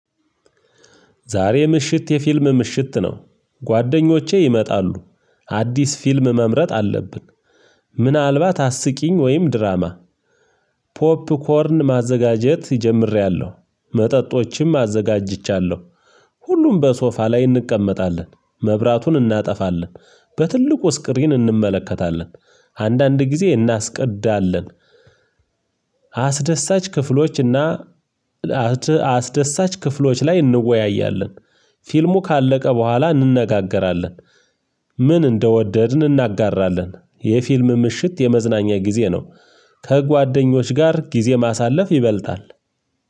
ዛሬ ምሽት የፊልም ምሽት ነው። ጓደኞቼ ይመጣሉ አዲስ ፊልም መምረጥ አለብን። ምናልባት አስቂኝ ወይም ድራማ። ፖፕኮርን ማዘጋጀት ጀምሬያለሁ መጠጦችም አዘጋጅቻለሁ። ሁሉም በሶፋ ላይ እንቀመጣለን መብራቱን እናጠፋለን በትልቁ ስክሪን እንመለከታለን አንዳንድ ጊዜ እናስቀዳለን። አስደሳች ክፍሎች እና አስደሳች ክፍሎች ላይ እንወያያለን። ፊልሙ ካለቀ በኋላ እንነጋገራለን። ምን እንደወደድን እናጋራለን የፊልም ምሽት የመዝናኛ ጊዜ ነው። ከጓደኞች ጋር ጊዜ ማሳለፍ ይበልጣል።